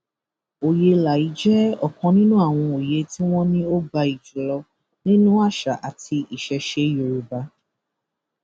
òye elà yìí jẹ ọkan nínú àwọn òye tí wọn ní ó gbayì jù lọ nínú àṣà àti ìṣesẹ yorùbá